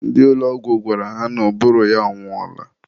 ndị ụlọ ọgwụ gwara ha na ụbụrụ ya anwụọla.